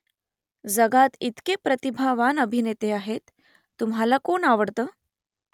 जगात इतके प्रतिभावान अभिनेते आहेत . तुम्हाला कोण आवडतं ?